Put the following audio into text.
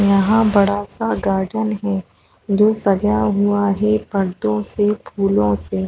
यहाँ बड़ा सा गार्डन है जो सजा हुआ है पर्दो से फूलो से--